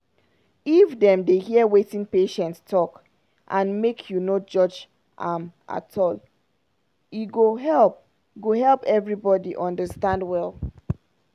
if dem dey hear wetin patient talk and make you no judge am at all e go help go help everybody understand well.